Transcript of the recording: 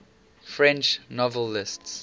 french novelists